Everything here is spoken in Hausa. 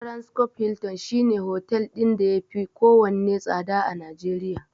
Transcorp Hilton shine hotel ɗin da yafi kowanne tsada a Najeriya.